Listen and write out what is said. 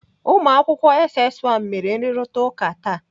Ụmụakwụkwọ SS 1 mere nrụrịtaụka taa.